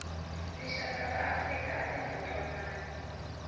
tixaka ta afrika atinga ntwanani